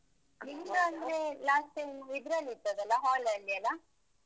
ನಿಮ್ದು ಅಂದ್ರೆ last time ಇದ್ರಲ್ಲಿದ್ದದ್ದಲ್ಲಾ, hall ಲಿ ಅಲ್ಲಾ?